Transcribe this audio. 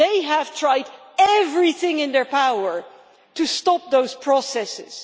They have tried everything in their power to stop those processes.